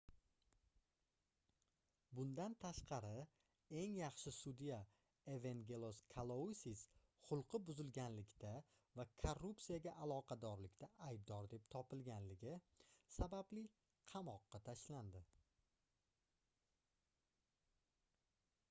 bundan tashqari eng yaxshi sudya evengelos kalousis xulqi buzilganlikda va korrupsiyaga aloqadorlikda aybdor deb topilganligi sababli qamoqqa tashlanadi